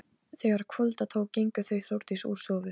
Auðólfur, hvenær kemur leið númer þrjátíu og sex?